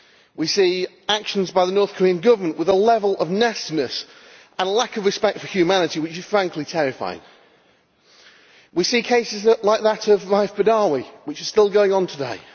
We see actions by the North Korean government with a level of nastiness and a lack of respect for humanity which is frankly terrifying. We see cases like that of Raif Badawi, which is still going on today.